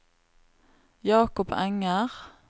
Jacob Enger